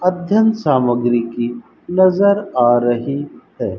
अध्ययन सामग्री की नजर आ रही है।